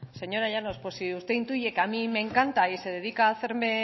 señora llanos pues si usted intuye que a mí me encanta y se dedica a hacerme